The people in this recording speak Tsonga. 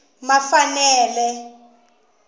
mafanele